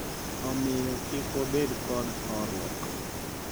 Omiyo kik wabed kod horuok.